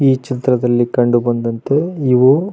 ಈ ಚಿತ್ರದಲ್ಲಿ ಕಂಡು ಬಂದಂತೆ ಇವು--